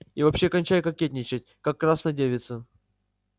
и вообще кончай кокетничать как красна девица